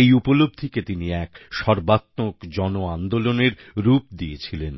এই উপলব্ধিকে তিনি এক সর্বাত্মক জন আন্দোলনের রূপ দিয়েছিলেন